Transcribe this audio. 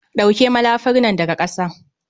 ɗauke malafar nan daga ƙasa